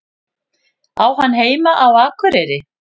Á hann heima á Akureyri?